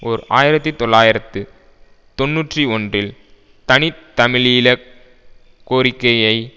ஓர் ஆயிரத்தி தொள்ளாயிரத்து தொன்னூற்றி ஒன்றில் தனி தமிழீழ கோரிக்கையை